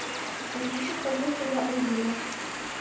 звучит как будто я урина